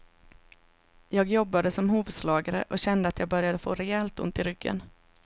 Jag jobbade som hovslagare och kände att jag började få rejält ont i ryggen.